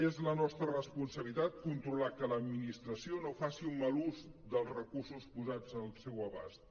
és la nostra responsabilitat controlar que l’administració no faci un mal ús dels recursos posats al seu abast